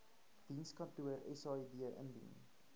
dienskantoor said indien